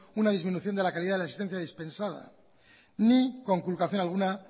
una disminución de la calidad de la asistencia dispensada ni conculcación alguna